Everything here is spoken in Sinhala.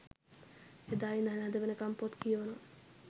එදා ඉදන් අද වෙනකම් පොත් කියෝනවා.